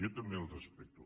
jo també el respecto